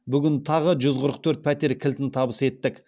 бүгін тағы жүз қырық төрт пәтер кілтін табыс еттік